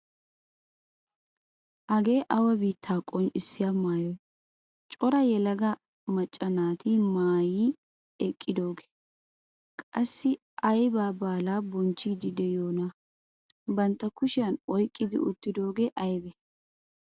Hagee awa biittaa qonccisiyaa maayoy cora yelaga macca naaati maayi eqqidoogee? Qassi aybaa baalaa bonchchiidi de'iyoonaa? Bantta kushiyaan oyqqi uttidoogee aybee?